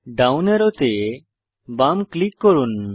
down অ্যারোতে বাম click করুন